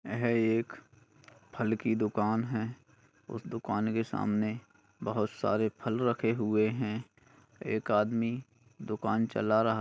यह एक फल की दुकान है उस दुकान के सामने बहुत सारे फल रखे हुए है एक आदमी दुकान चला रहा--